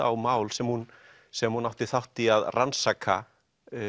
á mál sem hún sem hún átti þátt í að rannsaka